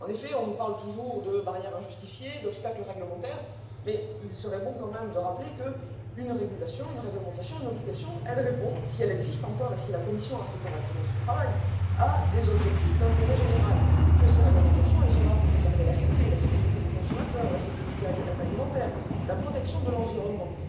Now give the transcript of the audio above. En effet, on nous parle toujours de barrières injustifiées, d'obstacles réglementaires, mais il serait tout de même bon de rappeler qu'une régulation, une réglementation, une obligation, répondent si elles existent encore et si la Commission a fait correctement son travail à des objectifs d'intérêt général, que ces réglementations sont là pour préserver la santé et la sécurité des consommateurs, la sécurité alimentaire et la protection de l'environnement.